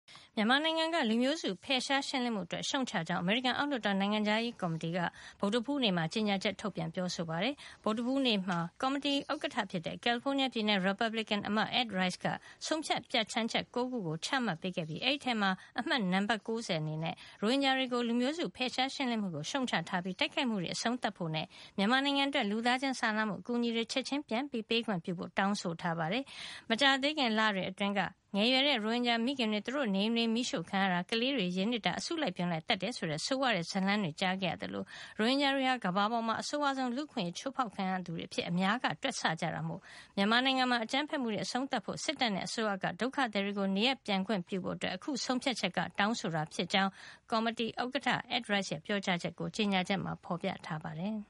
မြန်မာနိုင်ငံက လူမျိုးစု ဖယ်ရှားရှင်းလင်းမှုအတွက် ရှုတ်ချကြောင်း အမေရိကန် အောက်လွှတ်တော် နိုင်ငံခြားရေးရာကော်မတီက ဗုဒ္ဓဟူးနေ့က အတည်ပြုလိုက်ပါတယ်။ ဗုဒ္ဓဟူးနေ့မှာ ကော်မတီကဥက္ကဋ္ဌ ဖြစ်တဲ့ ကယ်လီဖိုးနီးယားပြည်နယ် ရီပတ်ဘလစ်ကင်အမတ် Ed Royce က ဆုံးဖြတ် ပြဌာန်းချက် ၉ ခုကို အတည်ပြု ပေးခဲ့တာဖြစ်ပြီး အဲဒီထဲက တခုဖြစ်တဲ့ H. Con. Res. 90 မှာတော့ ရိုဟင်ဂျာတွေကို လူမျိုးစု ဖယ်ရှားရှင်းလင်းမှုကို ရှုတ်ချထားပြီး တိုက်ခိုက်မှုတွေ အဆုံးသတ်ဖို့နဲ့ မြန်မာနိုင်ငံအတွက် လူသားချင်းစာနာမှုအကူညီတွေ ချက်ချင်းပြန်ပေးခွင့်ပြုဖို့ တောင်းဆိုထားပါတယ်။ မကြာသေးခင်လတွေအတွင်းက ငယ်ရွယ်တဲ့ ရိုဟင်ဂျာမိခင်တွေ သူတို့နေအိမ်တွေ မီးရှို့ ခံရတာ၊ ကလေးတွေ ရေနစ်တာ၊ အစုလိုက်အပြုံလိုက် သတ်တယ် ဆိုတဲ့ ဆိုးဝါးတဲ့ ဇာတ်လမ်းတွေ ကြားခဲ့ရသလို ရိုဟင်ဂျာတွေဟာ ကမ္ဘာပေါ်မှာ အဆိုးဝါးဆုံး လူ့အခွင့်ရေး အချိုးဖေါက်ခံရသူတွေ အဖြစ်အများက တွက်ဆကြတာမို့ မြန်မာနိုင်ငံမှာ အကြမ်းဖက် မှုတွေ အဆုံးသတ်ဖို့၊ စစ်တပ်နဲ့အစိုးရက ဒုက္ခသည်တွေကို နေရပ်ပြန်ခွင့်ပြုဖို့ အခု ဆုံးဖြတ်ချက်က တောင်းဆိုတာ ဖြစ်ကြောင်း ကော်မတီက ဥက္ကဋ္ဌ Ed Royce ရဲ့ ပြောကြား ချက်ကို ကြေညာချက်မှာ ဖေါ်ပြထားပါတယ်